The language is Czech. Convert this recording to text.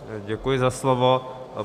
Děkuji za slovo.